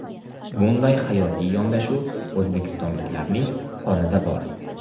Bunday hayotiy yondashuv o‘zbekistonliklarning qonida bor.